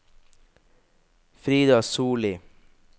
Frida Solli